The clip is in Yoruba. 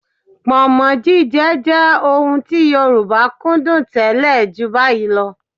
Pọ̀nmọ́ jíjẹ jẹ ohun tí Yorùbá kúndùn tẹ́lẹ̀ ju báyìí lọ